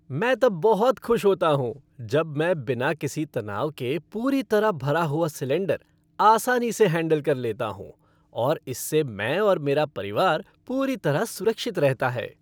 मैं तब बहुत खुश होता हूँ जब मैं बिना किसी तनाव के पूरी तरह भरा हुआ सिलेंडर आसानी से हैंडल कर लेता हूँ और इससे मैं और मेरा परिवार पूरी तरह सुरक्षित रहता है।